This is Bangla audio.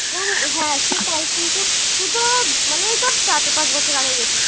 ওই হ্যাঁ সেটাই কিন্তু তুই তো মানে এই ধর চার পাঁচ বছর আগে গেছিস